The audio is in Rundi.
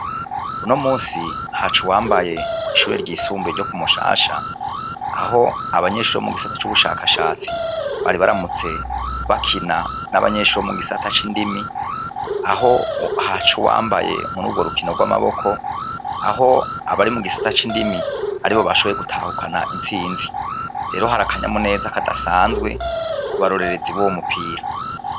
Uno munsi hac 'uwambaye kw'ishuri ryisumbuye ryo kumushasha, aho abanyeshure bo mugisata c'ubushakashatsi bari baramutse bakina n'abanyeshure bo mugisata c'indimi, aho hac'uwambaye mur'urwo rukino rw'amaboko, aho abo mugisata c'indimi bashoboye gutahukana intsinzi, rero har'akanyamuneza kadasanzwe kubarorerezi buwo mupira.